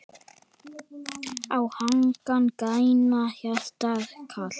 á hagann grænan, hjarnið kalt